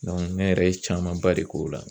ne yɛrɛ ye camanba de k'o la.